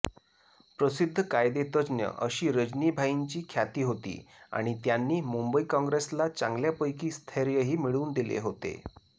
प्रसिद्ध कायदेतज्ज्ञ अशी रजनीभाईंची ख्याती होती आणि त्यांनी मुंबई काँग्रेसला चांगल्यापैकी स्थैर्यही मिळवून दिले होते